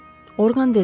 Orqan dedi.